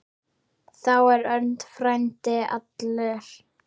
Þá er Örn frændi allur.